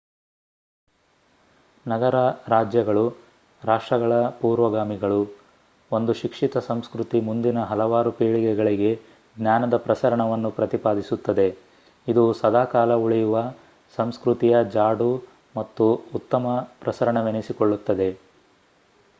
ನಗರ-ರಾಜ್ಯಗಳು ರಾಷ್ಟ್ರಗಳ ಪೂರ್ವಗಾಮಿಗಳು ಒಂದು ಶಿಕ್ಷಿತ ಸಂಸ್ಕ್ರತಿ ಮುಂದಿನ ಹಲವಾರು ಪೀಳಿಗೆಗಳಿಗೆ ಜ್ಞಾನದ ಪ್ರಸರಣವನ್ನು ಪ್ರತಿಪಾದಿಸುತ್ತದೆ ಇದು ಸದಾಕಾಲ ಉಳಿಯುವ ಸಂಸ್ಕ್ರತಿಯ ಜಾಡು ಮತ್ತು ಉತ್ತಮ ಪ್ರಸರಣವೆನಿಸಿಕೊಳ್ಳುತ್ತದೆ